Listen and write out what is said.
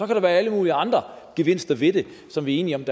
der være alle mulige andre gevinster ved det som vi er enige om